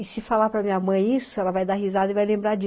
E se falar para minha mãe isso, ela vai dar risada e vai lembrar di